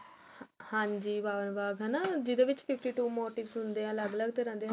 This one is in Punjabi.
ਹਾਂਜੀ ਭਾਵਨਾ ਬਾਗ ਐਨਾ ਜਿਹਦੇ ਵਿੱਚ fifty two motive ਹੁੰਦੇ ਹਨ ਅਲੱਗ ਅਲੱਗ ਤਰਾ ਦੇ